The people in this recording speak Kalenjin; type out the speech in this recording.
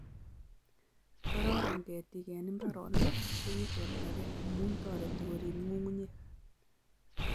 Kororon ketiik eng mbaronik chekichortakei amu toreti koriib nyung'unyek